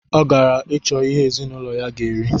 Ọ gara icho ihe ezinụlọ ya ga eri